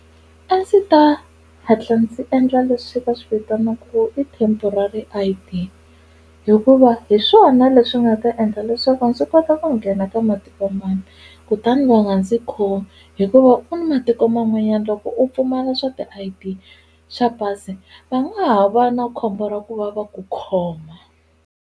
A ndzi ta hatla ndzi endla leswi va swi vitanaka i temporary I_D hikuva hi swona leswi nga ta endla leswaku ndzi kota ku nghena ka matikomambe kutani va nga ndzi khomi hikuva ku ni matiko man'wanyana loko u pfumala swa ti-I_D swa pasi va nga ha va na khombo ra ku va va ku khoma.